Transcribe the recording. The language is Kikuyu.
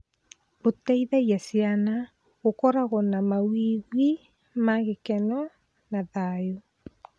Gũteithagia ciana gũkorwo na mawĩgwi ma gĩkeno na thayũ.